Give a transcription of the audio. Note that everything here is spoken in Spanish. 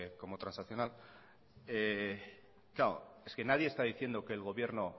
como transaccional claro es que nadie está diciendo que el gobierno